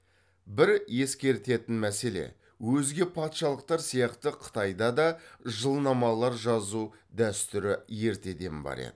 бір ескертетін мәселе өзге патшалықтар сияқты қытайда да жылнамалар жазу дәстүрі ертеден бар еді